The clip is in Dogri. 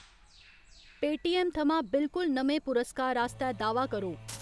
पेऽटीऐम्म थमां बिलकुल नमें पुरस्कार आस्तै दाह्‌‌‌वा करो।